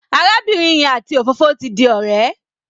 Arábìnrin yẹn àti òfófó ti di ọ̀rẹ́.